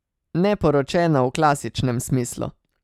Ne poročena v klasičnem smislu.